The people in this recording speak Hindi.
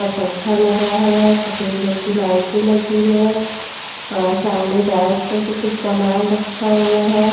पंखा लगा है सफेद रंग की लाइटें लगी है और सामने रैक पर भी कुछ सामान रखा हुआ है।